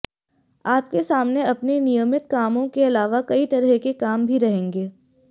आपके सामने अपने नियमित कामों के अलावा कई तरह के काम भी रहेंगे